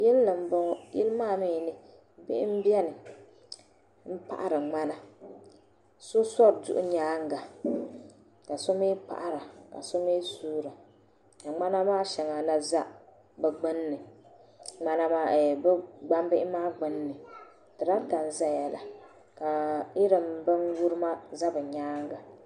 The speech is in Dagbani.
yili ni m-bɔŋɔ yili maa mi ni bihi m-beni m-paɣiri ŋmana so sɔri duɣu nyaaŋa ka so mi paɣira ka so mi suura ka ŋmana maa shɛŋa na za ɛmm bɛ ŋmana maa gbunni tarata n-zaya la ka binyirima za bɛ nyaaŋa